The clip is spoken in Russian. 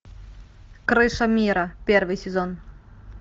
крыша мира первый сезон